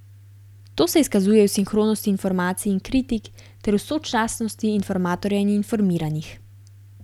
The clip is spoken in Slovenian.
To se izkazuje v sinhronosti informacij in kritik ter v sočasnosti informatorja in informiranih.